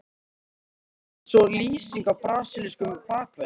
Hljómar það eins og lýsing á brasilískum bakverði?